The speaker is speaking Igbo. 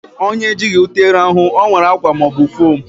Onye ejighị ute rahụ, o were akwa ma ọ bụ fom